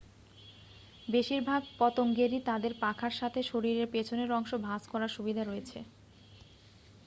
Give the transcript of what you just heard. বেশিরভাগ পতঙ্গেরই তাদের পাখার সাথে শরীরের পেছনের অংশ ভাঁজ করার সুবিধা রয়েছে